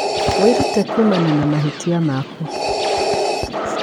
Wĩrute kuumana na mahĩtia maku.